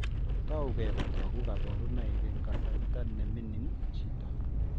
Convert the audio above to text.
Tougei kotogu kaborunoik eng' kasarta neming'in chito